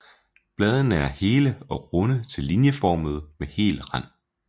Bladene er hele og runde til linjeformede med hel rand